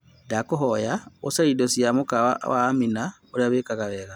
Ndakuhonya ũcarie indo cia mukawa wa amina ũrĩa ũheanaga